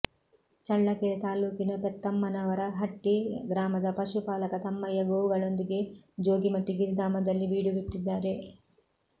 ಚಳ್ಳಕೆರೆ ತಾಲ್ಲೂಕಿನ ಪೆತ್ತಮ್ಮನವರಹಟ್ಟಿ ಗ್ರಾಮದ ಪಶುಪಾಲಕ ತಮ್ಮಯ್ಯ ಗೋವುಗಳೊಂದಿಗೆ ಜೋಗಿಮಟ್ಟಿ ಗಿರಿಧಾಮದಲ್ಲಿ ಬೀಡು ಬಿಟ್ಟಿದ್ದಾರೆ